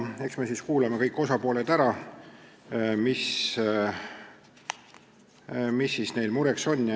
Eks me siis kuulame kõik osapooled ära, vaatame, mis neil mureks on.